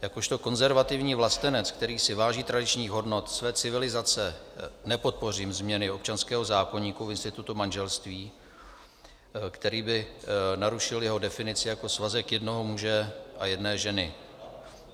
Jakožto konzervativní vlastenec, který si váží tradičních hodnot své civilizace, nepodpořím změny občanského zákoníku v institutu manželství, který by narušil jeho definici jako svazek jednoho muže a jedné ženy.